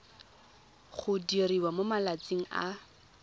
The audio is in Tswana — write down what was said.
go diriwa mo malatsing a